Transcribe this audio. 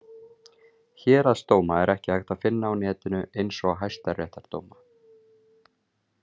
Héraðsdóma er ekki hægt að finna á netinu eins og hæstaréttardóma.